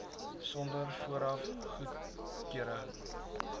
sonder vooraf goedkeuring